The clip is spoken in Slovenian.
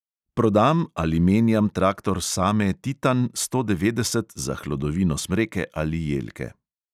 Prodam ali menjam traktor same titan sto devetdeset za hlodovino smreke ali jelke.